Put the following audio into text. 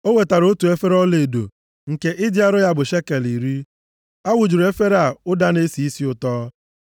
O wetara otu efere ọlaedo nke ịdị arọ ya bụ shekel iri. A wụjuru efere a ụda na-esi isi ụtọ.